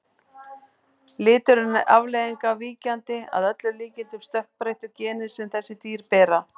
Liturinn er afleiðing af víkjandi, að öllum líkindum stökkbreyttu, geni sem þessi dýr bera.